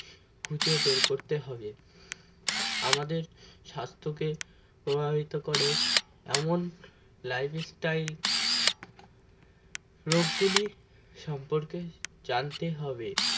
খুঁজে বের করতে হবে আমাদের স্বাস্থ্য কে প্রভাবিত করে এমন life style রোগগুলির সম্পর্কে জানতে হবে